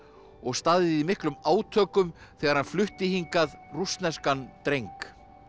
og staðið í miklum átökum þegar hann flutti hingað rússneskan dreng